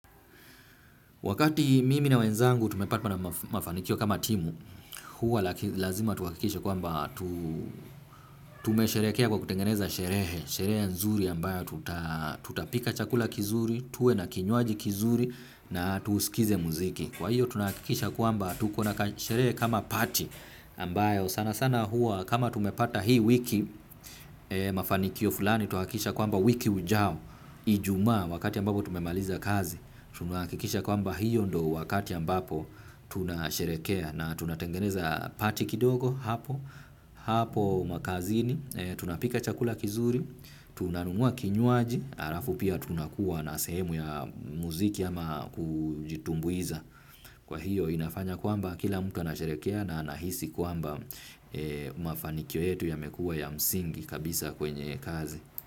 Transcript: Wakati mimi na wenzangu tumepatwa na mafanikio kama timu, huwa lazima tuhakikisha kwamba tume sherekea kwa kutengeneza sherehe, sherehe nzuri ambayo tutapika chakula kizuri, tuwe na kinywaji kizuri na tusikize muziki. Kwa hiyo tunahakikisha kwamba tuko na kashere kama party ambayo sana sana huwa kama tumepata hii wiki mafanikio fulani tunahakikisha kwamba wiki ujao ijumaa wakati ambapo tumemaliza kazi tunahakikisha kwamba hiyo ndo wakati ambapo tunasherekea na tunatengeneza party kidogo hapo hapo makazini tunapika chakula kizuri tunanunua kinywaji alafu pia tunakuwa na sehemu ya muziki ama kujitumbuiza. Kwa hiyo inafanya kwamba kila mtu anasherekea na anahisi kwamba mafanikio yetu yamekuwa ya msingi kabisa kwenye kazi.